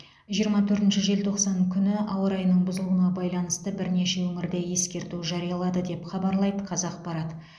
жиырма төртінші желтоқсан күні ауа райының бұзылуына байланысты бірнеше өңірде ескерту жариялады деп хабарлайды қазақпарат